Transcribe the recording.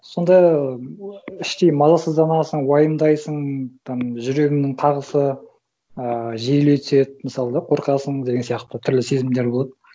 сонда іштей мазасызданасың уайымдайсың там жүрегіңнің қағысы ыыы жиілей түседі мысалы да қорқасың деген сияқты түрлі сезімдер болады